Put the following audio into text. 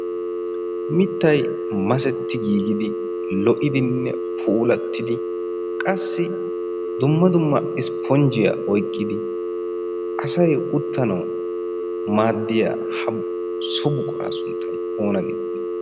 mittay masetti giigidi lo"idinne puulattidi qassi dumma dumma ispponjjiyaa oyqqidi asay uttanau maaddiya so buqoraa sunttay oona geetiti?